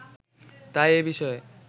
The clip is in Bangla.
তাই এ বিষয়ে